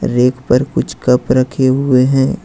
Rack पर कुछ cup रखे हुए हैं।